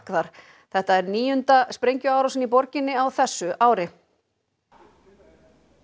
þar þetta er níunda sprengjuárásin í borginni á þessu ári